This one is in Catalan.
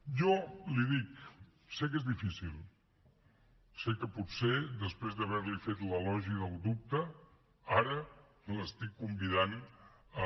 jo l’hi dic sé que és difícil sé que potser després d’haver li fet l’elogi del dubte ara l’estic convidant a